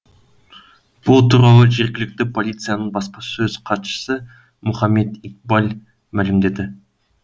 бұл туралы жергілікті полицияның баспасөз хатшысы мұхаммед икбал мәлімдеді